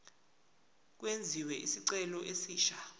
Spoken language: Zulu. kwenziwe isicelo esisha